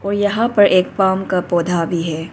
यहां पर एक पॉम का पौधा भी है।